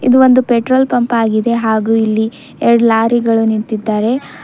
ಇದು ಒಂದು petrol pump ಆಗಿದೆ ಹಾಗು ಇಲ್ಲಿ ಎರಡ್ ಲಾರಿಗಳು ನಿಂತಿದ್ದಾವೆ.